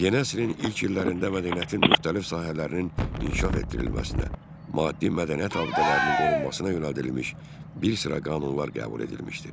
Yeni əsrin ilk illərində mədəniyyətin müxtəlif sahələrinin inkişaf etdirilməsinə, maddi mədəniyyət abidələrinin qorunmasına yönəldilmiş bir sıra qanunlar qəbul edilmişdir.